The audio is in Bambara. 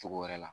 Cogo wɛrɛ la